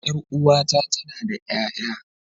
Ƴar uwata tana da ƴaƴa.